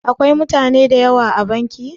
Akwai mutane da yawa a banki?